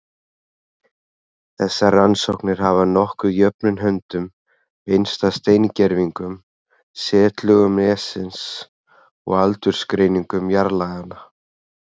Þessar rannsóknir hafa nokkuð jöfnum höndum beinst að steingervingum, setlögum nessins og aldursgreiningum jarðlaganna.